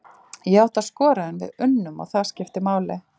Ég átti að skora en við unnum og það skiptir máli!